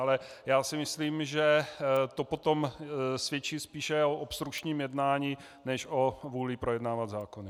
Ale já si myslím, že to potom svědčí spíše o obstrukčním jednání než o vůli projednávat zákony.